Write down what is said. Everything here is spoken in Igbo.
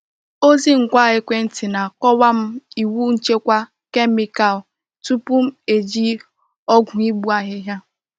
Ozi ngwa ekwenti na-akọwa m iwu nchekwa kemikal tupu m eji ọgwụ igbu ahịhịa.